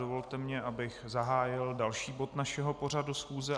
Dovolte mi, abych zahájil další bod našeho pořadu schůze.